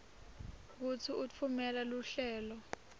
kutsi utfumela luhlelo